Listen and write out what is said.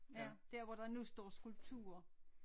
Ja der hvor der nu står skulpturer